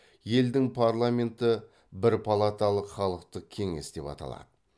елдің парламенті бірпалаталық халықтық қеңес деп аталады